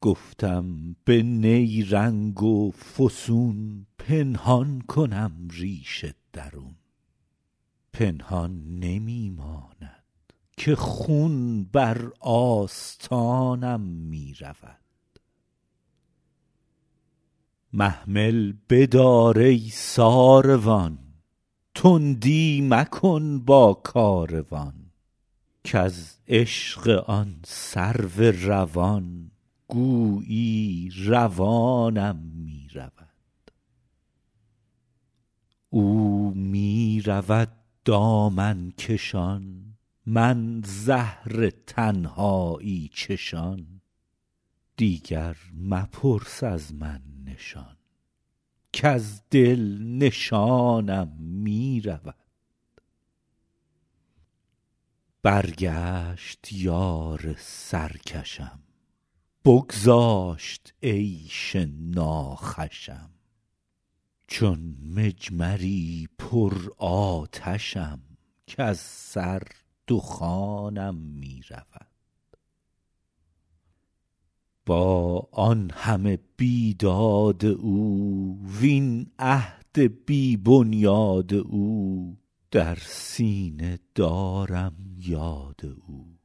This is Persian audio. گفتم به نیرنگ و فسون پنهان کنم ریش درون پنهان نمی ماند که خون بر آستانم می رود محمل بدار ای ساروان تندی مکن با کاروان کز عشق آن سرو روان گویی روانم می رود او می رود دامن کشان من زهر تنهایی چشان دیگر مپرس از من نشان کز دل نشانم می رود برگشت یار سرکشم بگذاشت عیش ناخوشم چون مجمری پرآتشم کز سر دخانم می رود با آن همه بیداد او وین عهد بی بنیاد او در سینه دارم یاد او